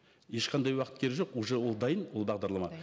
ешқандай уақыт керегі жоқ уже ол дайын ол бағдарлама